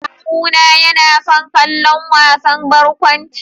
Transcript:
Kawuna yana son kallon wasan barkwanci.